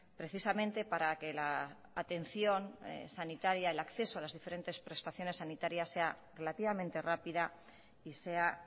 precisamente para que la atención sanitaria el acceso a las diferentes prestaciones sanitarias sea relativamente rápida y sea